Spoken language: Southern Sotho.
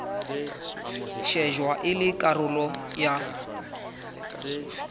shejwa e le karolo ya